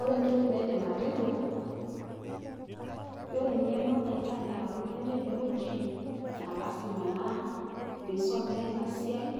Ore entoki naidim atejo, ore eng'eno naishaa neata oltung'ani tenewueji, naa lazima naa peisomea ina siai